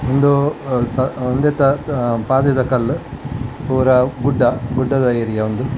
ಉಂದು ಸ್ ಉಂದೆತ ಪಾದೆದ ಕಲ್ಲ್ ಪೂರ ಗುಡ್ಡ ಗುಡ್ಡದ ಏರಿಯಾ ಉಂದು.